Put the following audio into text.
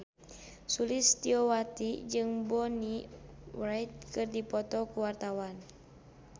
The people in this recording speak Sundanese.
Sulistyowati jeung Bonnie Wright keur dipoto ku wartawan